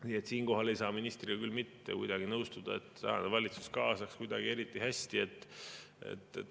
Nii et siinkohal ei saa ministriga küll mitte kuidagi nõustuda, et tänane valitsus kaasaks kuidagi eriti hästi.